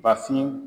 Bafin